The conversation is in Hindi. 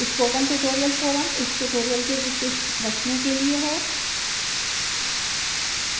spoken tutorial forum इस tutorial के विशिष्ट प्रश्नों के लिए है